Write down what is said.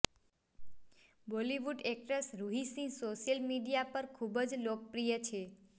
Bollywood actress Ruhi Singh social media પર ખૂબ જ લોકપ્રિય છે